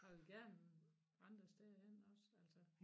Og jeg vil gerne andre steder hen også altså